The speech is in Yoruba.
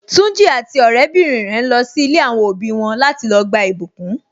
Tunji àti ọrẹ bìnrin rẹ ń lọ si ilé àwọn òbí wọn láti lọ gba ìbùkún.